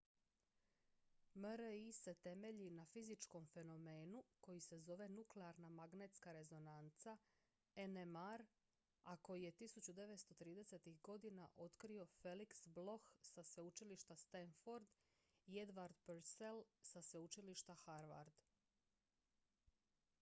mri se temelji na fizičkom fenomenu koji se zove nuklearna magnetska rezonanca nmr a koji je 1930-ih godina otkrio felix bloch sa sveučilišta stanford i edward purcell sa sveučilišta harvard